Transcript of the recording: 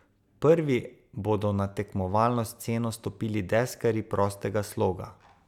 Prvi bodo na tekmovalno sceno stopili deskarji prostega sloga.